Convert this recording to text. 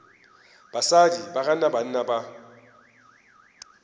basadi ba gana banna ba